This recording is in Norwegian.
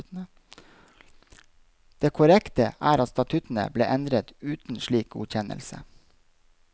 Det korrekte er at statuttene ble endret uten slik godkjennelse.